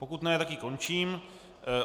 Pokud ne, tak ji končím.